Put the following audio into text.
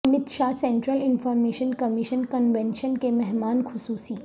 Amit Shah central information commission convention کے مہمان خصوصی